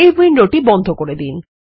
এই উইন্ডোটি বন্ধ করে দিন